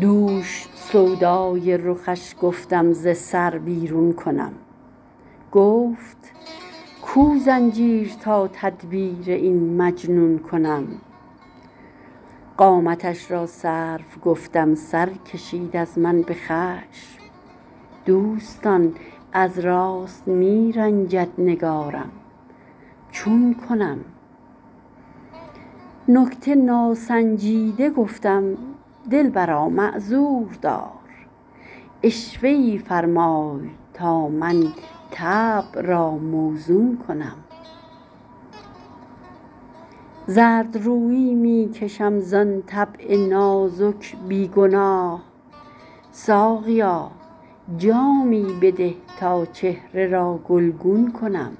دوش سودای رخش گفتم ز سر بیرون کنم گفت کو زنجیر تا تدبیر این مجنون کنم قامتش را سرو گفتم سر کشید از من به خشم دوستان از راست می رنجد نگارم چون کنم نکته ناسنجیده گفتم دلبرا معذور دار عشوه ای فرمای تا من طبع را موزون کنم زردرویی می کشم زان طبع نازک بی گناه ساقیا جامی بده تا چهره را گلگون کنم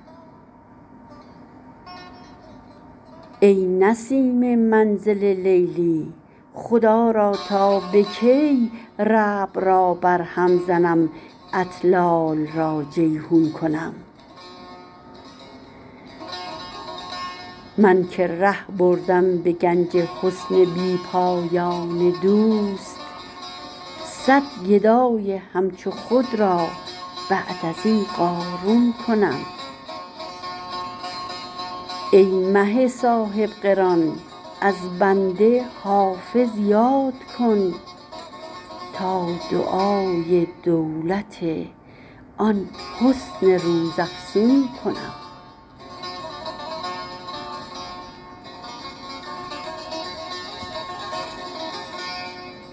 ای نسیم منزل لیلی خدا را تا به کی ربع را برهم زنم اطلال را جیحون کنم من که ره بردم به گنج حسن بی پایان دوست صد گدای همچو خود را بعد از این قارون کنم ای مه صاحب قران از بنده حافظ یاد کن تا دعای دولت آن حسن روزافزون کنم